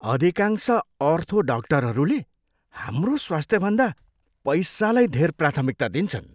अधिकांश अर्थो डाक्टरहरूले हाम्रो स्वास्थ्यभन्दा पैसालाई धेर प्राथमिकता दिन्छन्।